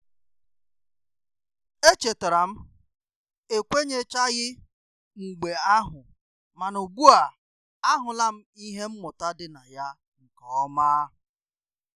E chetara m ekwenyechaghi mgbe ahu mana ugbua ahula m ihe mmụta dị na ya nkeoma